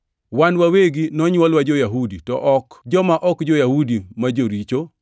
“Wan wawegi nonywolwa jo-Yahudi to ok joma ok jo-Yahudi ma joricho,